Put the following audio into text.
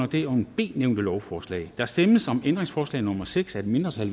det under b nævnte lovforslag der stemmes om ændringsforslag nummer seks af et mindretal